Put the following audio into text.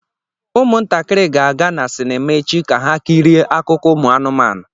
Ụmụntakịrị ga-aga na sinima echi ka ha kirie akụkọ ụmụ anụmanụ.